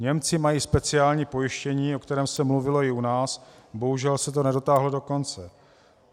Němci mají speciální pojištění, o kterém se mluvilo i u nás, bohužel se to nedotáhlo do konce.